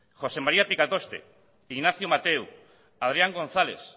josé maría picatoste ignacio mateu adrián gonzález